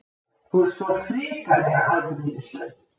Þú ert svona hrikalega afbrýðisöm!